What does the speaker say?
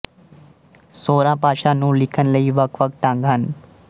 ਸੋਰਾ ਭਾਸ਼ਾ ਨੂੰ ਲਿਖਣ ਲਈ ਵੱਖਵੱਖ ਢੰਗ ਹਨ